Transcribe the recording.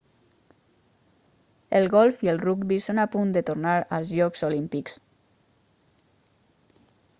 el golf i el rugbi són a punt de tornar als jocs olímpics